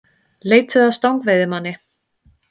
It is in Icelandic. Leituðu að stangveiðimanni